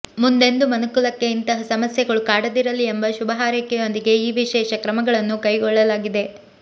ಮುಂದೆಂದೂ ಮನುಕುಲಕ್ಕೆ ಇಂತಹ ಸಮಸ್ಯೆಗಳು ಕಾಡದಿರಲಿ ಎಂಬ ಶುಭ ಹಾರೈಕೆಯೊಂದಿಗೆ ಈ ವಿಶೇಷ ಕ್ರಮಗಳನ್ನು ಕೈಗೊಳ್ಳಲಾಗಿದೆ